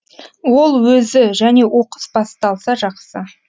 ол өзі және оқыс басталса жақсы